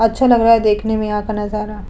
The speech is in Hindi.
अच्छा लग रहा है देखने में यहां का नजारा।